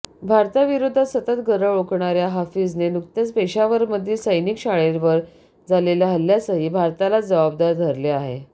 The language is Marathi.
भारताविरोधात सतत गरळ ओकणाऱ्या हाफिजने नुकत्याच पेशावरमधील सैनिकी शाळेवर झालेल्या हल्ल्यासही भारतालाच जबाबदार धरले आहे